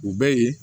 U bɛ ye